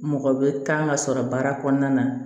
Mɔgɔ bɛ taa ka sɔrɔ baara kɔnɔna na